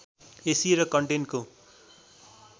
AC र करेन्टको